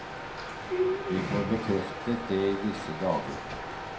Vi får bekreftet det i disse dager.